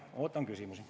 Ootan küsimusi.